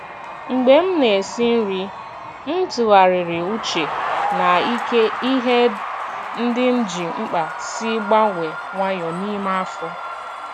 Mgbe m na-esi nri, m tụgharịrị uche na ka ihe ndị m ji mkpa si gbanwee nwayọọ n’ime afọ.